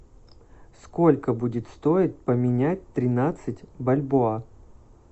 сколько будет стоить поменять тринадцать бальбоа